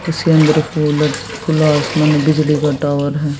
इसके अंदर एक खुला आसमान बिजली का टावर है।